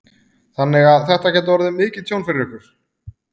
Þannig að þetta gæti orðið mikið tjón fyrir ykkur?